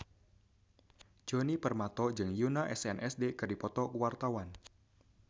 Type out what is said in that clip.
Djoni Permato jeung Yoona SNSD keur dipoto ku wartawan